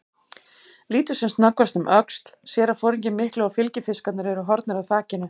Lítur sem snöggvast um öxl, sér að foringinn mikli og fylgifiskarnir eru horfnir af þakinu.